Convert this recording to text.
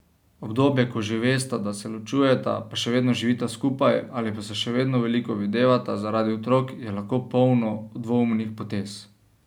Obdobje, ko že vesta, da se ločujeta, pa še vedno živita skupaj, ali pa se še vedno veliko videvata zaradi otrok, je lahko polno dvoumnih potez.